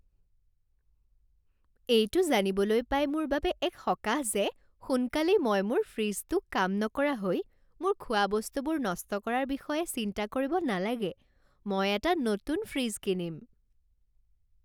এইটো জানিবলৈ পাই মোৰ বাবে এক সকাহ যে সোনকালেই মই মোৰ ফ্ৰিজটো কাম নকৰা হৈ মোৰ খোৱাবস্তুবোৰ নষ্ট কৰাৰ বিষয়ে চিন্তা কৰিব নালাগে। মই এটা নতুন ফ্ৰিজ কিনিম।